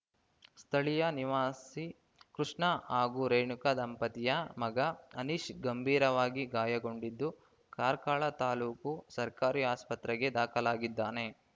ಸ್ಥಳೀಯ ನಿವಾಸಿ ಕೃಷ್ಣ ಹಾಗೂ ರೇಣುಕಾ ದಂಪತಿಯ ಮಗ ಅನೀಶ್‌ ಗಂಭೀರವಾಗಿ ಗಾಯಗೊಂಡಿದ್ದು ಕಾರ್ಕಳ ತಾಲೂಕು ಸರ್ಕಾರಿ ಆಸ್ಪತ್ರೆಗೆ ದಾಖಲಾಗಿದ್ದಾನೆ